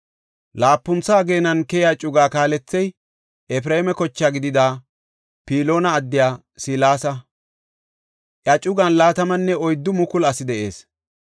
Laapuntha ageenan keyiya cugaa kaalethey Efreema koche gidida Piloona addiya Selesa; iya cugan 24,000 asi de7ees.